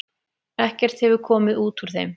Ekkert hefur komið út úr þeim.